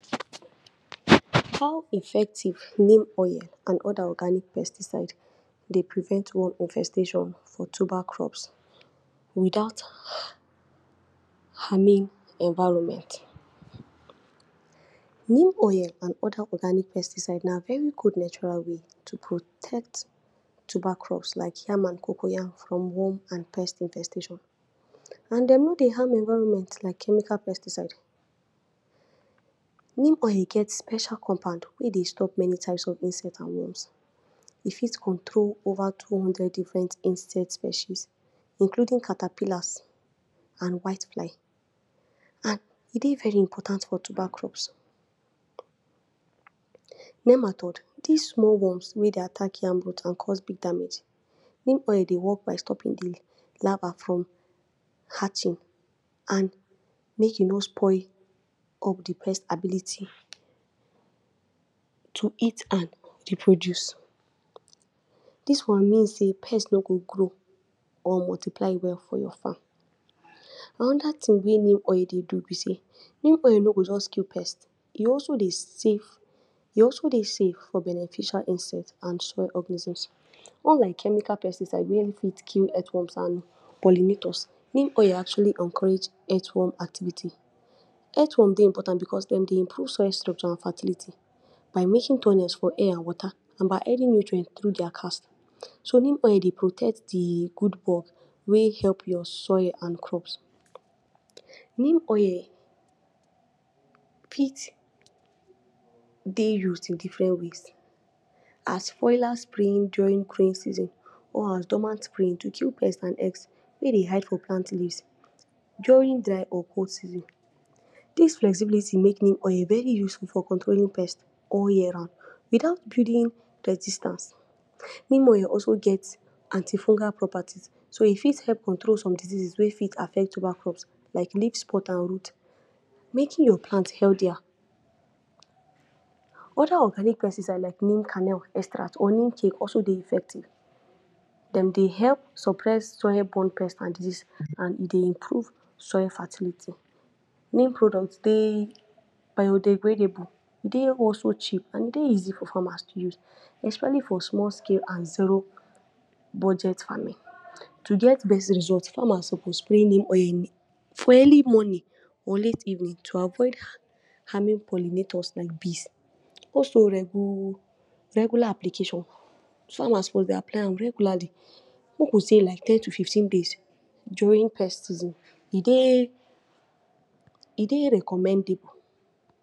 How effective neem oil an other organic pesticide dey prevent worm infestation for tuber crops without harming environment. Neem oil an other organic pesticide na very good natural way to protect tuber crops like yam an cocoyam from worm an pest infestation, an dem no dey harm environment like chemical pesticide. Neem oil get special compound wey dey stop many types of insects an worms. E fit control over two hundred different insect species including caterpillars an white fly, an e dey very important for tuber crops. Nematode—dis small worms wey dey attack yam root an cause big damage—neem oil dey work by stopping di larvae from hatching, an make e no spoil up di best ability to eat an reproduce. Dis one mean sey pest no go grow or multiply well for your farm. Another tin wey neem oil dey do be sey neem oil no go juz kill pest, e also dey safe e also dey safe for beneficial insect an soil organisms. Unlike chemical pesticide wey fit kill earthworms an pollinators, neem oil actually encourage earthworm activity. Earthworm dey important becos dem dey improve soil structure an fertility by making tunnels for air an water, an by aiding nutrient through dia cast. So neem oil dey protect di good wey help your soil an crops. Neem oil fit dey used in different ways: as foiler spraying during growing season or as dormant spraying to kill pest an eggs wey dey hide for plant leaves during dry or cold season. Dis flexibility make neem oil very useful for controlling pest all year round without building resistance. Neem oil also get antifungal properties so e fit help control some diseases wey fit affect tuber crops like leaf spot an root, making your plant healthier. Other organic pesticide like neem kernel extract or neem cake also dey effective. Dem dey help suppress soil-borne pest an disease an e dey improve soil fertility. Neem product dey biodegradable, e dey also cheap, an e dey easy for farmers to use, especially for small scale an zero budget farming. To get best result, farmer suppose spray neem oil for early morning or late evening to avoid harming pollinators like bees. Also regular application. Farmer suppose dey apply am regularly. sey like ten to fifteen days during pest season. E dey e dey recommendable.